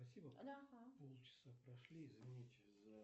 салют как называется столица канады